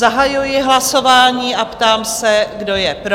Zahajuji hlasování a ptám se, kdo je pro?